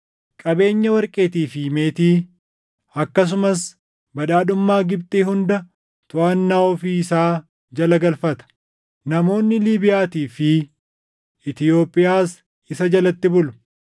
Qabeenya warqeetii fi meetii, akkasumas badhaadhummaa Gibxi hunda toʼannaa ofii isaa jala galfata; namoonni Liibiyaatii fi Itoophiyaas isa jalatti bulu.